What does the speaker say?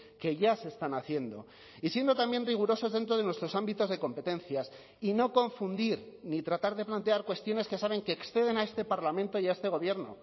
que ya se están haciendo y siendo también rigurosos dentro de nuestros ámbitos de competencias y no confundir ni tratar de plantear cuestiones que saben que exceden a este parlamento y a este gobierno